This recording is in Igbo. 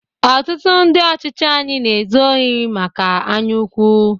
Otụtụ ndị ọchịchị anyị na ezu ori maka anyaukwu.